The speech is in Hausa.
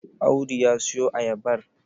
Audu ya siyo ayabar?